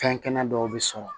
Fɛn kɛnɛ dɔw bɛ sɔrɔ